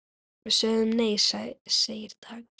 Við sögðum nei, segir Dagur.